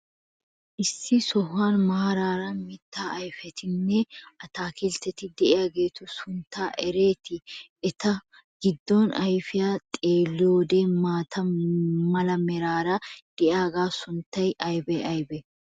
Issi sohuwan maaraara mitaa ayfetinne attaakilteti de'iyageetu sunttaa eretii? Eta giddo ayfiyan xeeliyode maata mala meray de'iyogaa sunttay aybee aybee?